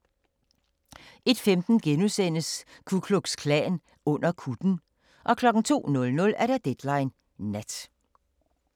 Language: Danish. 01:15: Ku Klux Klan under kutten * 02:00: Deadline Nat